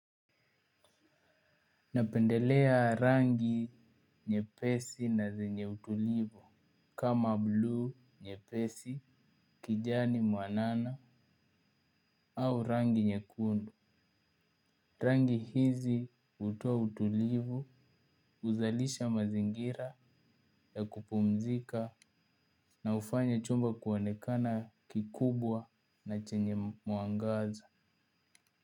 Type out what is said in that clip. Napendelea rangi nyepesi na zenye utulivu kama blue nyepesi kijani mwanana au rangi nyekundu. Rangi hizi hutoa utulivu huzalisha mazingira ya kupumzika na hufanya chumba kuonekana kikubwa na chenye mwangaza.